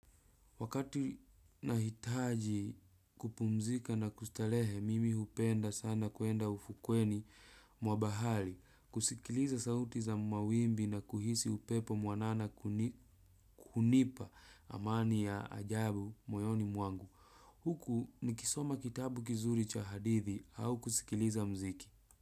Wakati nahitaji kupumzika na kustarehe mimi hupenda sana kwenda ufukweni mwa bahari kusikiliza sauti za mawimbi na kuhisi upepo mwanana kuni hunipa amani ya ajabu moyoni mwangu huku nikisoma kitabu kizuri cha hadithi au kusikiliza muziki.